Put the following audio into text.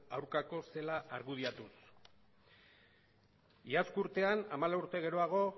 aurkakoa zela argudiatuz iazko urtean hamalau urte geroago